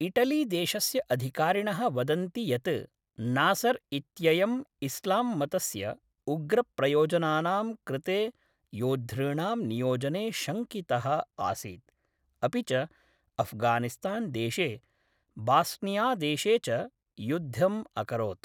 इटलीदेशस्य अधिकारिणः वदन्ति यत् नासर् इत्ययम् इस्लाम्मतस्य उग्रप्रयोजनानां कृते योद्धॄणां नियोजने शङ्कितः आसीत्, अपि च अफ्गानिस्तान्देशे बास्नियादेशे च युद्धम् अकरोत्।